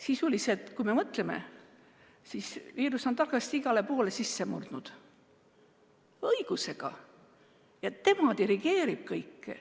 Kui mõtleme, siis viirus on targasti igale poole sisse murdnud, õigusega, ja tema dirigeerib kõike.